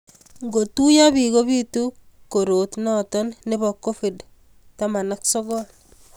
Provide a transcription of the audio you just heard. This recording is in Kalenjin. ngotuiyi biik kobiitu korotnoto nebo COVID 19